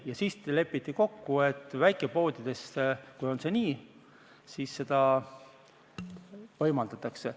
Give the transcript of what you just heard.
Ja siis lepiti kokku, et väikepoodides, kui on see nii, siis seda võimaldatakse.